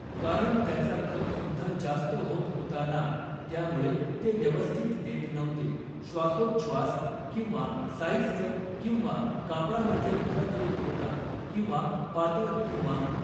कारण त्याचा खप सुद्धा जास्त होत होता ना त्यामुळे ते व्यवस्थित देत नव्हते श्वासोच्छ्वास किंवा साईझचं किंवा कापडामध्ये फरक येत होता किवा पातळ किंवा